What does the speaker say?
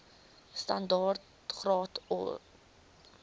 standaard graad or